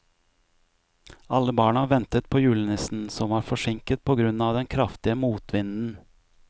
Alle barna ventet på julenissen, som var forsinket på grunn av den kraftige motvinden.